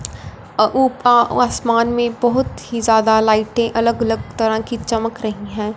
आसमान में बहोत ही ज्यादा लाइटें अलग अलग तरह की चमक रही हैं।